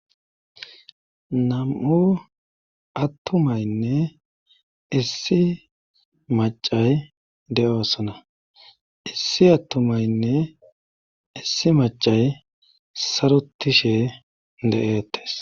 nam7u attumaynne issi macay de7oosona issi attumaynne issi macay sarotishe de7eettes